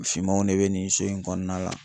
Fimanw de be nin so in kɔɔna la